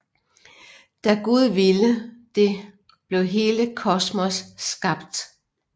Da Gud ville det blev hele kosmos skabt